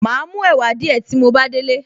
Màá mú ẹ̀wà díẹ̀ tí mo bá délé